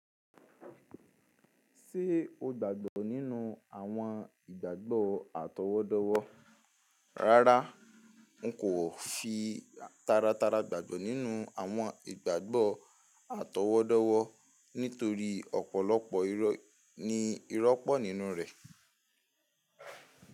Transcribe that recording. Ṣé o gbàgbọ́ nínú àwọn ìgbàgbọ́ àtọwọ́dọ́wọ́? Rárá, n kò fi taratara gbàgbọ́ nínú àwọn ìgbàgbọ́ àtọwọ́dọ́wọ́ nítorí ọ̀pọ̀lọpọ̀ irọ́ ni ìrọ́pọ̀ nínú rẹ̀.